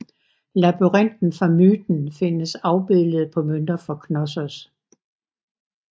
Labyrinten fra myten findes afbildet på mønter fra Knossos